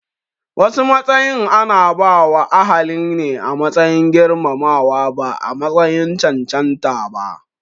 Wasu matsayin ana bawa ahaline a matsayin girmamawa ba a matsayin cancanta ba